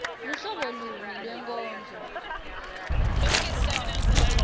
luhlobo luni lwenkondlo